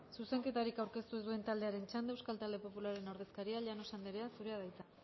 zuzenketarik aurkeztu ez duen taldearen txanda euskal talde popularraren ordezkaria llanos andrea zurea da hitza